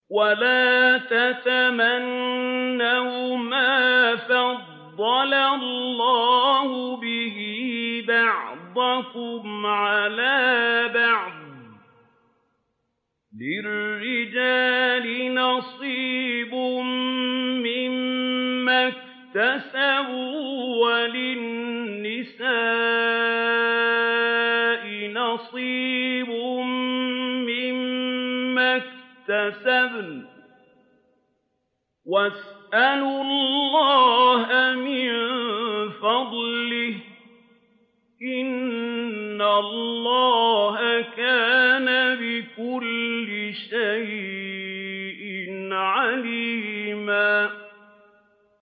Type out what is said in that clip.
وَلَا تَتَمَنَّوْا مَا فَضَّلَ اللَّهُ بِهِ بَعْضَكُمْ عَلَىٰ بَعْضٍ ۚ لِّلرِّجَالِ نَصِيبٌ مِّمَّا اكْتَسَبُوا ۖ وَلِلنِّسَاءِ نَصِيبٌ مِّمَّا اكْتَسَبْنَ ۚ وَاسْأَلُوا اللَّهَ مِن فَضْلِهِ ۗ إِنَّ اللَّهَ كَانَ بِكُلِّ شَيْءٍ عَلِيمًا